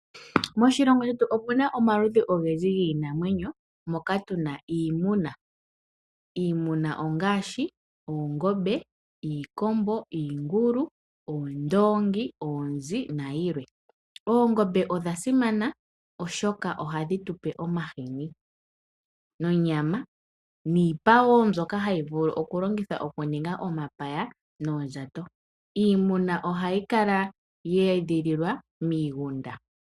Moshilongo shetu omuna omaludhi ogendji giinamwenyo moka tuna iimuna. Iimuna ongaashi oongombe, iikombo, iingulu, oondongi, oonzi nayilwe. Oongombe odha simana oshoka ohadhi tupe omahini nonyama, niipa wo mbyoka hayi vulu okulongithwa okuninga omapaya noondjato. Iimuna ohayi kala yeedhililwa miigunda.